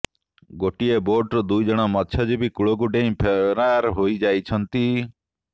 ଗୋଟିଏ ବୋଟରୁ ଦୁଇ ଜଣ ମତ୍ସ୍ୟଜୀବୀ କୂଳକୁ ଡେଇଁ ଫେରାର ହୋଇଯାଇଛନ୍ତି